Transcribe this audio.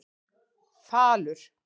Falur